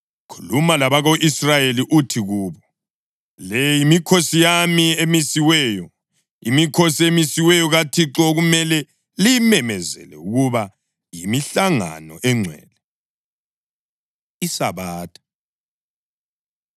“Khuluma labako-Israyeli uthi kubo: ‘Le yimikhosi yami emisiweyo, imikhosi emisiweyo kaThixo okumele liyimemezele ukuba yimihlangano engcwele.’ ” ISabatha